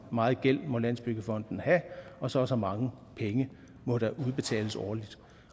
meget gæld må landsbyggefonden have og så og så mange penge må der udbetales årligt